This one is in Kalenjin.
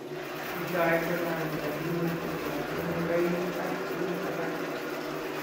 kiitou kulany robini che kiolen ngoroik ak tuguk alak